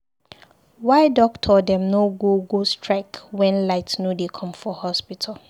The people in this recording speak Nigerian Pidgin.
Why doctor dem no go go strike wen light no dey come for hospital?